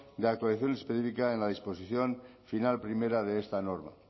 de actualización especifica en la disposición final primera de esta norma